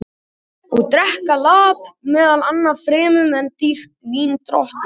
Og drekka lap meðal manna fremur en dýrt vín drottins sjálfs?